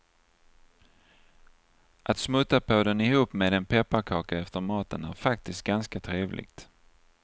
Att smutta på den ihop med en pepparkaka efter maten är faktiskt ganska trevligt.